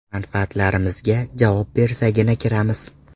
Manfaatlarimizga javob bersagina kiramiz.